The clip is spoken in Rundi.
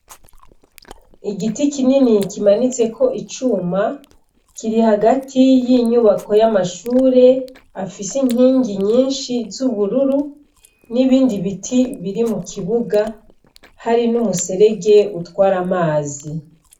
Igiti kinini kimanitseko icuma kiri hagati y' inyubako y'amashure afise inkingi nyinshi z' ubururu n' ibindi biti biri mu kibuga hari n' umuserege utwara amazi.